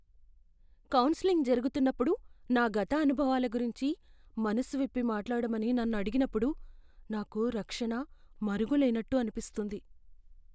Counselling జరుగుతున్నప్పుడు నా గత అనుభవాల గురించి మనసు విప్పి మాట్లాడమని నన్ను అడిగినప్పుడు నాకు రక్షణ, మరుగు లేన్నట్టు అనిపిస్తుంది.